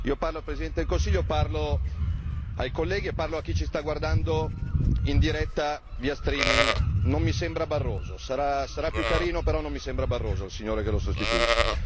Io parlo al Presidente del Consiglio, parlo ai colleghi e parlo a chi ci sta guardando in diretta streaming non mi sembra Barroso, sarà più carino però non mi sembra Barroso il signore che lo sostituisce.